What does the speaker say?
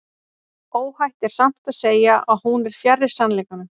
Óhætt er samt að segja að hún er fjarri sannleikanum.